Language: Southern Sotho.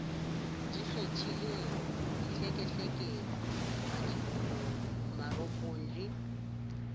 ikgethileng dihlekehleke madiboho marokgo le